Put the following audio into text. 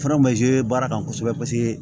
Fara baara kan kosɛbɛ paseke